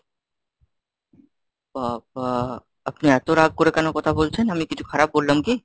বাবা, আপনি এত রাগ করে কেন কথা বলছেন? আমি কিছু খারাপ বললাম কি?